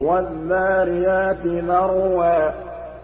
وَالذَّارِيَاتِ ذَرْوًا